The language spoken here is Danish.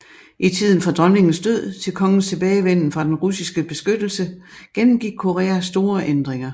I tiden fra dronningens død til kongens tilbagevenden fra den russiske beskyttelse gennemgik Korea store ændringer